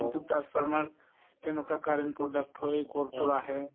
transformer কেনেকুৱা current product হয় কৰ পৰা আহে